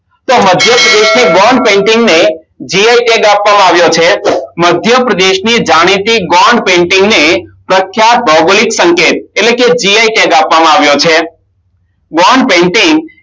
તો મધ્યપ્રદેશ ની Gone painting ને jio tag આપવામાં આવ્યો છે મધ્યપ્રદેશની જાણીતી Gone painting ને પ્રખ્યાત સંકેત એટલે કે gn tag આપવામાં આવ્યો છે Gone painting